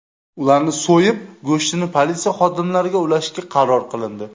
Ularni so‘yib, go‘shtini politsiya xodimlariga ulashishga qaror qilindi.